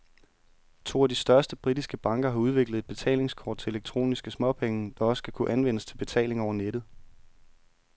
To af de største britiske banker har udviklet et betalingskort til elektroniske småpenge, der også skal kunne anvendes til betaling over nettet.